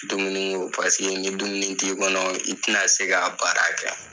Dumuni ko paseke ni dumuni ti kɔnɔ, i tina se ka a baara kɛ